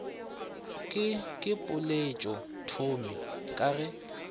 ke ke poeletšothomi ka ge